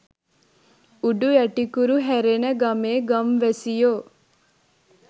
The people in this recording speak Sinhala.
උඩු යටිකුරු හැරෙන ගමේ ගම්වැසියෝ